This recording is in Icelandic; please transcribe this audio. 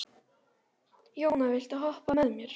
Jóna, viltu hoppa með mér?